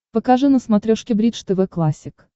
покажи на смотрешке бридж тв классик